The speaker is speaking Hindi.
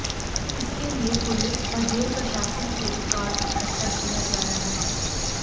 इसके लिए पुलिस व जेल प्रशासन से रिकार्ड इकट्ठा किया जा रहा है